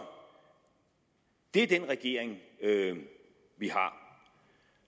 det er den regering vi har